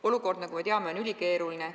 Olukord, nagu me teame, on ülikeeruline.